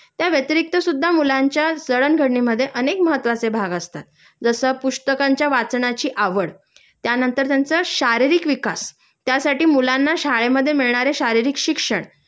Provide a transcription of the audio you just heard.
त्याव्यतिरिक्त सुद्धा मुलांच्या जडगडणीमधे अनेक महत्वाचे भाग असतात जस पुस्तकांच्या वाचनाची आवड, त्यानंतर त्यांचं शारीरिक विकास त्यासाठी मुलांना शाळेमधे मिळणारे शारीरिक शिक्षण